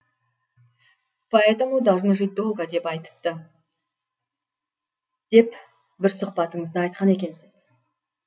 поэтому должны жить долго деп айтыпты деп бір сұхбатыңызда айтқан екенсіз